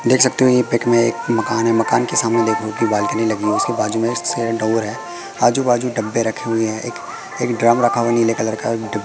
देख सकते हो ये पिक मे एक मकान है मकान के सामने देख रहे हो कि बालकनी लगी हुई इसके बाजू मे सरेंट ओवर है आजु बाजू डब्बे रखे हुए है एक ड्रम रखा हुआ है नीले कलर का डि--